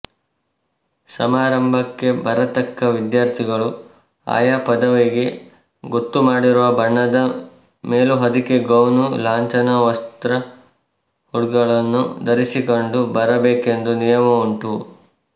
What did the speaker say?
ಸಮಾರಂಭಕ್ಕೆ ಬರತಕ್ಕ ವಿದ್ಯಾರ್ಥಿಗಳು ಆಯಾ ಪದವಿಗೆ ಗೊತ್ತು ಮಾಡಿರುವ ಬಣ್ಣದ ಮೇಲುಹೊದಿಕೆಗೌನು ಲಾಂಛನ ವಸ್ತ್ರಹುಡ್ಗಳನ್ನು ಧರಿಸಿಕೊಂಡು ಬರಬೇಕೆಂಬ ನಿಯಮವುಂಟು